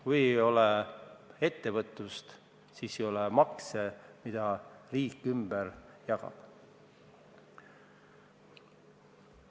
Kui ei ole ettevõtlust, siis ei ole ka maksuraha, mida riik ümber jagab.